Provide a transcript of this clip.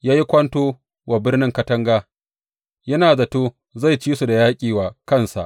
Ya yi kwanto wa biranen katanga, yana zato zai ci su da yaƙi wa kansa.